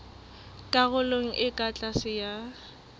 karolong e ka tlase ya